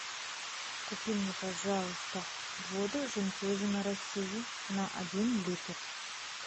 купи мне пожалуйста воду жемчужина россии на один литр